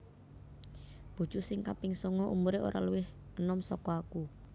Bojo sing kaping songo umure ora luwih enom soko aku